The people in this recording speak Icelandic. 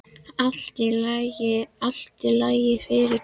Allt í lagi, allt í lagi, fyrirgefðu.